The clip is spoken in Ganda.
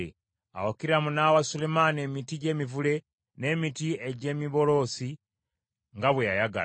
Awo Kiramu n’awa Sulemaani emiti gy’emivule n’emiti egy’emiberosi nga bwe yayagala,